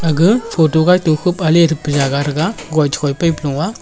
aga photo gaito khup ali thepa jaga thaga koithoi paplo a.